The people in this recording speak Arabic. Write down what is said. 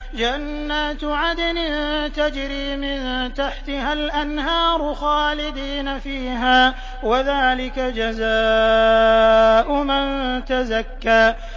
جَنَّاتُ عَدْنٍ تَجْرِي مِن تَحْتِهَا الْأَنْهَارُ خَالِدِينَ فِيهَا ۚ وَذَٰلِكَ جَزَاءُ مَن تَزَكَّىٰ